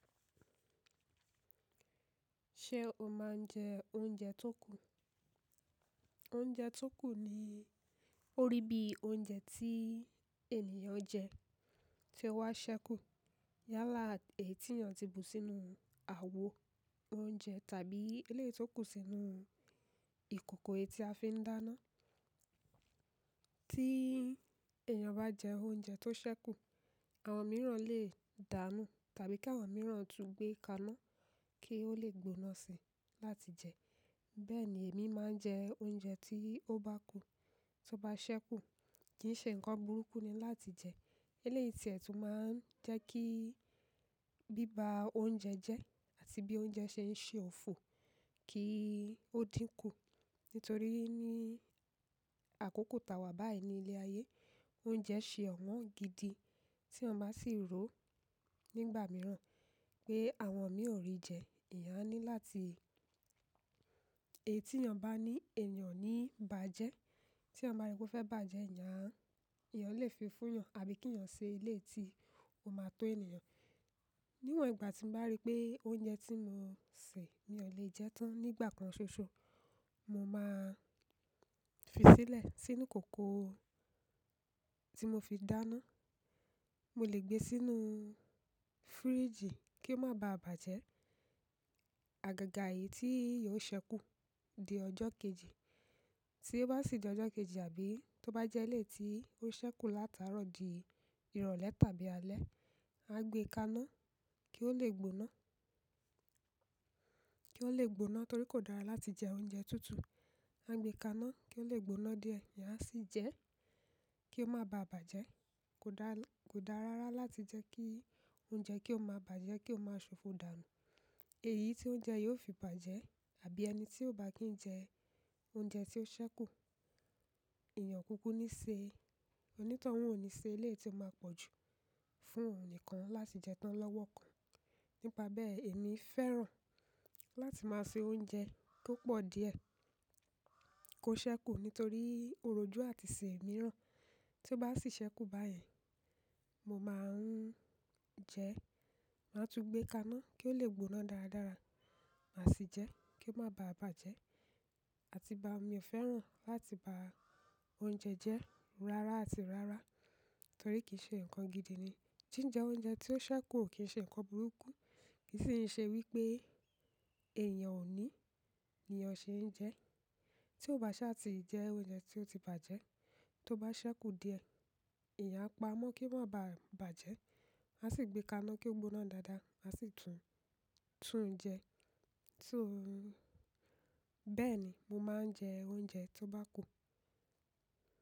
Ṣé o máa ń jẹ oúnjẹ tó kù? Oúnjẹ tó kù ni orí bí oúnjẹ tí ènìyàn jẹ tí ó wá ṣẹ́kù. Yálà èyí tí èyàn ti bù sínú àwo oúnjẹ tàbí eléyìí tó kù sínú ìkòkò èyí tí a fi ń dáná. Tí èyàn bá jẹ oúnjẹ tó ṣẹ́kù, àwọn mìíràn lè dánú tàbí kí àwọn mìíràn tún gbé kaná kí ó lè gbóná si láti jẹ. Bẹ́ẹ̀ni èmi máa ń jẹ oúnjẹ tí ó bá kù, to bá ṣẹ́kù, kì í ṣe nǹkan burúkú ni láti jẹ. Eléyìí ti ẹ̀ tún máa ń jẹ́ kí- bíba oúnjẹ jẹ́ àti bí oúnjẹ ṣe ń ṣe òfò kí ó dínkù. Nítorí ní àkókò tàwà báyìí ní ilé ayé, oúnjẹ ṣe ọ̀wọ́n gidi tí eyan bá sì ro nígbà mìíràn pé àwọn mìí ò rí jẹ, èèyàn a ní láti- èyí tí eèyan bá ní èèyàn o ní bàjẹ́. Tí ẹyan ba ri pe o fẹ́ bàjẹ́, èèyàn a- eeyan lè fi fún yàn àbí kí èèyàn ṣe eléyìí tí ó máa tó ènìyàn. Níwọ̀n ìgbà tí n bá rí pé oúnjẹ tí mo sè mi ò lè jẹ tán nígbà kan ṣoṣo, mo máa fi sílẹ̀ sínú ìkòkò tí mo fi dáná. Mo lè gbé e sínú fíríjì kí ó máa ba à bàjẹ́. Àgàgà èyí tí yiò ṣẹ́kù di ọjọ́ kejì. Tí ó bá sì di ọjọ́ kejì àbí tó bá jẹ́ eléyìí tí ó ṣẹ́kù látàárọ̀ di ìrọ̀lẹ́ tàbí alẹ́, a gbé e kaná kí ó lè gbóná, kí ó lè gbóná torí kò dára láti jẹ oúnjẹ tútù. A gbé e kaná kí ó lè gbóná díẹ̀, èèyàn a sì jẹ ẹ́ kí ó máa ba à bàjẹ́. Kò dá rárá láti jẹ́ kí oúnjẹ kí ó máa bàjẹ́, kí ó máa ṣòfò dànù. Èyí tí oúnjẹ yóò fi bàjẹ́ àbí ẹni tí ó bá kì í jẹ oúnjẹ tí ó ṣẹ́kù, èèyàn o kúkú ní ṣe, onítanun ò ní ṣe eléyìí tí ó máa pọ̀jù fún òun nìkan láti jẹ tán lọ́wọ́ kan. Nípa bẹ́ẹ̀ èmi fẹ́ràn láti máa ṣe oúnjẹ tó pọ̀ díẹ̀ kó ṣẹ́kù nítorí òrójú àti ìṣe míràn. Tí ó bá sì ṣẹ́kù báyen, mo máa ń jẹ ẹ́, màá tún gbé e kaná kí ó lè gbóná dáradára, màá sì jẹ kí ó máa ba à bàjẹ́. Àti bá mi ò fẹ́ràn láti ba oúnjẹ jẹ́ rárá àti rárá torí kì í ṣe nǹkan gidi ni. Jíjẹ oúnjẹ tí ó ṣẹ́kù ò kí ń ṣe nǹkan burúkú, kì í sì ń ṣe wípé èèyàn ò ní niyan ṣe ń jẹ. Tí ó bá ṣá ti jẹ oúnjẹ tí ó ti bàjẹ́, tó bá ṣẹ́kù díẹ̀, èèyàn a pa mọ́ kí ó má ba à bàjẹ́, màá sì gbé e kaná kí ó gbóná dáadáa, màá sì tun-tún jẹ ẹ́. Bẹ́ẹ̀ni mo máa ń jẹ oúnjẹ tó bá kù.